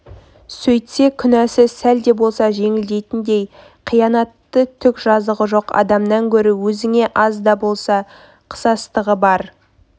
сөйтсе күнәсі сәл де болса жеңілдейтіндей қиянатты түк жазығы жоқ адамнан гөрі өзіңе аз да болса қысастығы бар